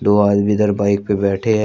दो आदमी इधर बाईक पे बैठे हैं।